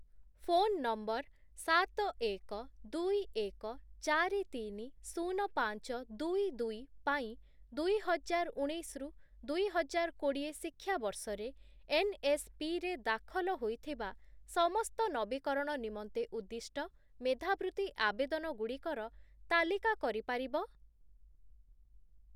Phone number ସାତ, ଏକ, ଦୁଇ, ଏକ, ଚାରି, ତିନି, ଶୂନ, ପାଞ୍ଚ, ଦୁଇ, ଦୁଇ ପାଇଁ ଦୁଇହଜାର ଉଣେଇଶ ରୁ ଦୁଇହଜାର କୋଡ଼ିଏ ଶିକ୍ଷାବର୍ଷରେ ଏନ୍‌ଏସ୍‌ପି ରେ ଦାଖଲ ହୋଇଥିବା ସମସ୍ତ ନବୀକରଣ ନିମନ୍ତେ ଉଦ୍ଦିଷ୍ଟ ମେଧାବୃତ୍ତି ଆବେଦନଗୁଡ଼ିକର ତାଲିକା କରି ପାରିବ?